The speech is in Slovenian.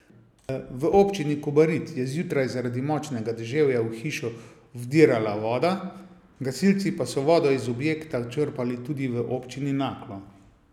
V občini Kobarid je zjutraj zaradi močnega deževja v hišo vdirala voda, gasilci pa so vodo iz objekta črpali tudi v občini Naklo.